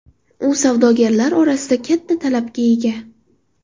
U savdogarlar orasida katta talabga ega.